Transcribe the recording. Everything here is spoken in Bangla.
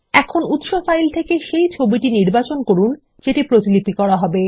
এখন উৎস ফাইল থেকে ছবিটি নির্বাচন করুন যেটি প্রতিলিপি করা হবে